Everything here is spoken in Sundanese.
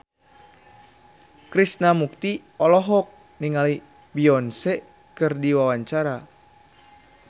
Krishna Mukti olohok ningali Beyonce keur diwawancara